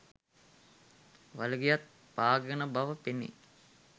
වලිගයත් පාගාගෙන බව පෙනේ.